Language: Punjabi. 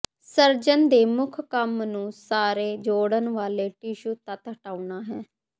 ਸਰਜਨ ਦੇ ਮੁੱਖ ਕੰਮ ਨੂੰ ਸਾਰੇ ਜੋੜਨ ਵਾਲੇ ਟਿਸ਼ੂ ਤੱਤ ਹਟਾਉਣਾ ਹੈ